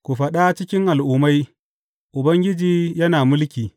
Ku faɗa cikin al’ummai, Ubangiji yana mulki.